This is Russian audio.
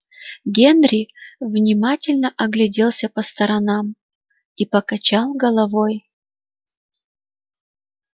генри внимательно огляделся по сторонам и покачал головой